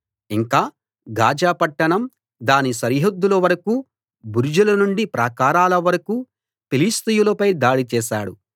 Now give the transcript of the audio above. ఇంకా గాజా పట్టణం దాని సరిహద్దుల వరకూ బురుజులనుండి ప్రాకారాల వరకూ ఫిలిష్తీయులపై దాడి చేశాడు